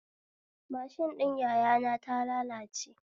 Mashin ɗin yaya na ta lalace